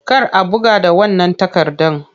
Kar a buga da wannan takardan!